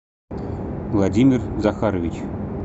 владимир захарович